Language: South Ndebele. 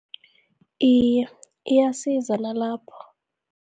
Iye, iyasiza nalapho